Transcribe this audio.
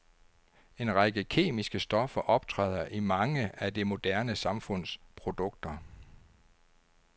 En række kemiske stoffer optræder i mange af det moderne samfunds produkter.